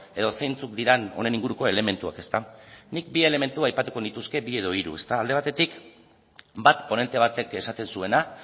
edo zeintzuk diren honen inguruko elementuak nik bi elementu aipatuko nituzke bi edo hiru alde batetik bat ponente batek esaten zuena